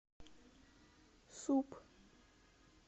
суп